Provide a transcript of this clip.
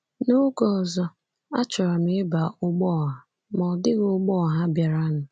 N’oge ọzọ, achọrọ m ịba ụgbọ ọha, ma ọ dịghị ụgbọ ọha bịaranụ.